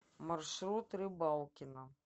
маршрут рыбалкино